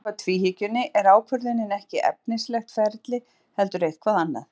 En samkvæmt tvíhyggjunni er ákvörðunin ekki efnislegt ferli heldur eitthvað annað.